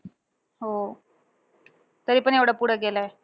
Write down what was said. हो. तरीपण एवढ्या पुढे गेलाय.